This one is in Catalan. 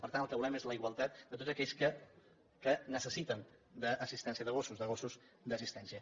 per tant el que volem és la igualtat de tots aquells que necessiten assistència de gossos de gossos d’assistència